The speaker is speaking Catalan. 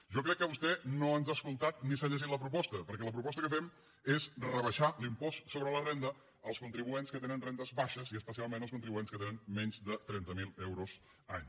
jo crec que vostè no ens ha escoltat ni s’ha llegit la proposta perquè la proposta que fem és rebaixar l’impost sobre la renda als contribuents que tenen rendes baixes i especialment als contribuents que tenen menys de trenta mil euros any